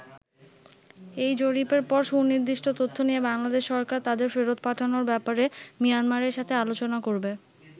এই জরিপের পর সুনির্দিষ্ট তথ্য নিয়ে বাংলাদেশ সরকার তাদের ফেরত পাঠানোর ব্যাপারে মিয়ানমারের সাথে আলোচনা করবে।